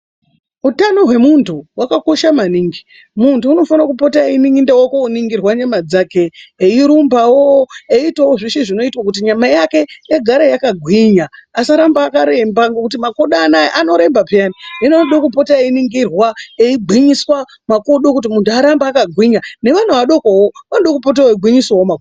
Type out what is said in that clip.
Utano hwemuntu hwakakosha maningi, muntu unofanire kupota einda koningirwa nyama dzake eirumbawo eitawo zveshe zvinoitwawo kuti nyama yake yagara yakagwinya asaramba akaremba, ngekuti makodo anoaya aremba peya hino unode kupota einingirwa eigwinyiswa makodo kuti munhu arambe akagwinya nevana vadokowo anoda kupote eigwinyisawo makodo.